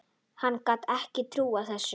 Hann gat ekki trúað þessu.